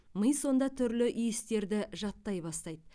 ми сонда түрлі иістерді жаттай бастайды